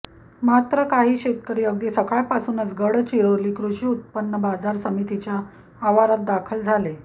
मात्र काही शेतकरी अगदी सकाळपासूनच गडचिराेली कृषी उत्पन्न् बाजार समितीच्या आवारात दाखल झाले